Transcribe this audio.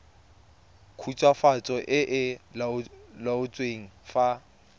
khutswafatso e e laotsweng fa